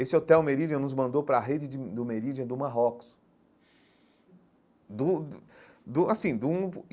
Esse hotel Meridian nos mandou para a rede de do Meridian, do Marrocos do do assim de um.